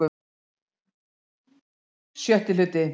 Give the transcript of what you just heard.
VI Hluti